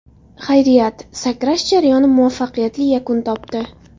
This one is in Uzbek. Xayriyat, sakrash jarayoni muvaffaqiyatli yakun topdi.